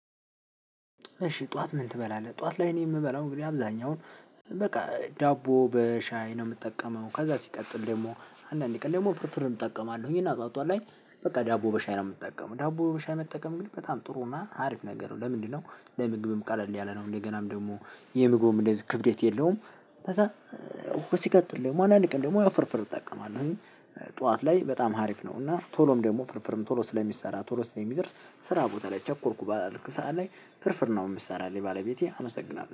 እሺ ጠዋት ምን ትበላለህ ጠዋት ላይ እኔ የምበላው እንግዲህ አብዛኛውን በቃ ዳቦ በሻይ ነው የምጠቀመው ከዛ ሲቀጥል ደግሞ አንዳንዴ ቀን ደግሞ ፍርፍር እጠቀማለሁኝ እና ጠዋቷ ላይ በቃ ዳቦ በሻይ ነው የምጠቀመው ዳቦ መሻይ መጠቀም ግን በጣም ጥሩ እና አሪፍ ነገር ነው። ለምንድነው? ለምግብም ቃል አለ ያለ ነው እንደገናም ደግሞ የምግቡም እንደዚህ ክብዴት የለውም። ከዛ እ እኮ ሲቀጥል ደግሞ አንዳንድ ቀን ደግሞ ያው ፍርፍር እጠቀማለሁ። ጠዋት ላይ በጣም ሀሪፍ ነው። እና ቶሎም ደግሞ ፍርፍርም ቶሎ ስለሚሰራ ቶሎ ስለሚደርስ ስራ ቦታ ላይ ቸኮርኩ ባልኩ ሰዓት ላይ ፍርፍር ነው የምትሰራልኝ ባለቤቴ አመሰግናለሁ